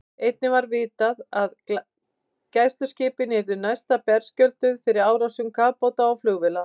Einnig var vitað, að gæsluskipin yrðu næsta berskjölduð fyrir árásum kafbáta og flugvéla.